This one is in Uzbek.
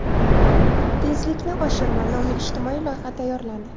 Tezlikni oshirma” nomli ijtimoiy loyiha tayyorlandi.